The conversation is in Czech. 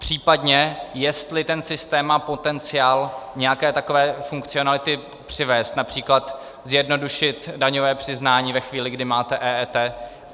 Případně jestli ten systém má potenciál nějaké takové funkcionality přivést, například zjednodušit daňové přiznání ve chvíli, kdy máte EET.